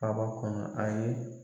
kɔnɔ a ye